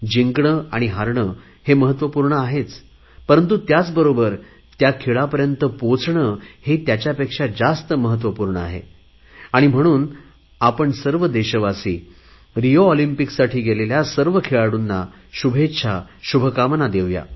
जिंकणे आणि हरणे महत्वपूर्ण आहेत परंतु त्याचबरोबर त्या खेळापर्यंत पोहचणे हे त्याच्यापेक्षा जास्त महत्त्चपूर्ण आहे आणि म्हणून आपण सर्व देशवासी रिओ ऑलम्पिकसाठी गेलेल्या सर्व खेळाडूंना शुभेच्छा शुभकामना देऊ